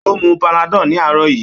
Ó mu panadol ní àárọ̀ yìí.